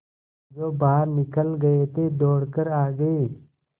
जो बाहर निकल गये थे दौड़ कर आ गये